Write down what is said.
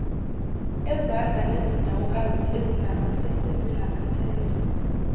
ezandla nezinyawokazi ezinamansense